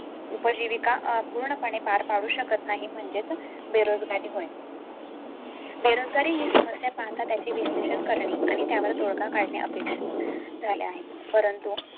उपजीविका पूर्णपणे पार पाडू शकत नाही. म्हणजेच बेरोजगारी होईल. बेरोजगारी ही समस्या पाहता त्याचे विश्लेषण करणे आणि त्यावर तोडगा काढणे अपेक्षित झाले आहे. परंतु